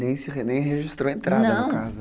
Nem registrou entrada no caso, não...